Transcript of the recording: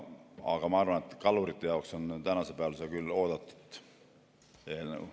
Aga ma arvan, et kalurite jaoks on tänasel päeval see küll oodatud eelnõu.